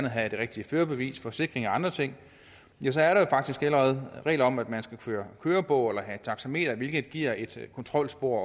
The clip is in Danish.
at have de rigtige førerbeviser forsikringer og andre ting ja så er der faktisk allerede regler om at man skal føre kørebog eller have taxameter hvilket giver et kontrolspor